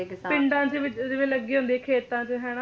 ਕਿਸਾਨ ਪਿੰਡਾਂ ਦੇ ਵਿੱਚ ਜਿਵੇਂ ਲੱਗੇ ਹੁੰਦੇ ਖੇਤਾਂ ਚ ਹਨਾਂ ਹਾਂ ਬਿਲਕੁਲ ਉਹ ਚੀਜ ਅਲੱਗ